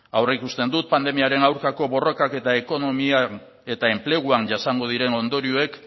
aurreikusten dut pandemiaren aurkako borrokak eta ekonomian eta enpleguan jasango diren ondorioek